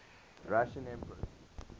russian emperors